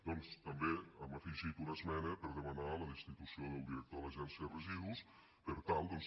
doncs també hem afegit una esmena per demanar la destitució del director de l’agència de residus per tal doncs